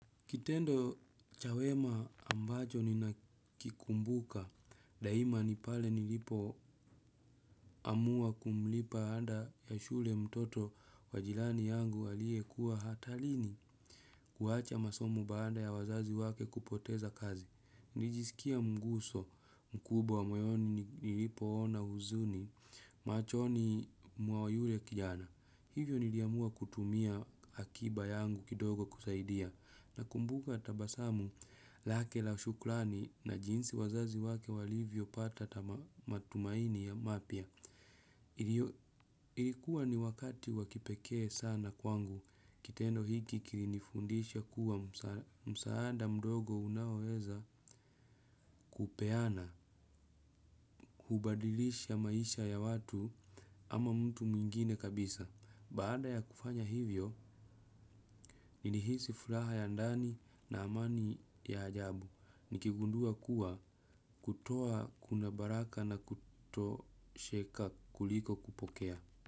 Kitendo cha wema ambacho ninakikumbuka daima ni pale nilipoamua kumlipa ada ya shule mtoto wa jirani yangu aliyekuwa hatarini kuacha masomo baada ya wazazi wake kupoteza kazi. Nilijisikia mguso mkubwa moyoni nilipoona huzuni machoni mwa yule kijana. Hivyo niliamua kutumia akiba yangu kidogo kusaidia nakumbuka tabasamu lake la shukrani na jinsi wazazi wake walivyopata matumaini mapya. Ilikuwa ni wakati wa kipekee sana kwangu. Kitendo hiki kilinifundisha kuwa msaada mdogo unaoweza kupeana hubadilisha maisha ya watu ama mtu mwingine kabisa. Baada ya kufanya hivyo, nilihisi furaha ya ndani na amani ya ajabu nikigundua kuwa kutoa kuna baraka na kutosheka kuliko kupokea.